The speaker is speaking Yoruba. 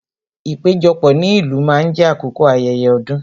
Ìpéjọpọ̀ ní ìlú máa ń jé àkókò ayẹyẹ ọdún